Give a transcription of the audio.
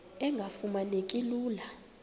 engafuma neki lula